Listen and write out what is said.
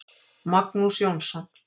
Magnús Jónsson.